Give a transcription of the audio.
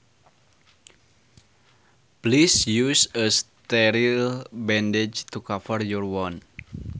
Please use a sterile bandage to cover your wound